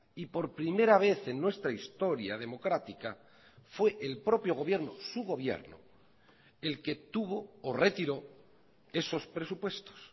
y por primera vez en nuestra historia democrática fue el propio gobierno su gobierno el que tuvo o retiró esos presupuestos